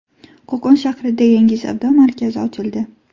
Qo‘qon shahrida yangi savdo markazi ochildi .